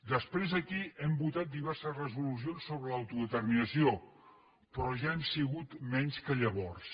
després aquí hem votat diverses resolucions sobre l’autodeterminació però ja hem sigut menys que llavors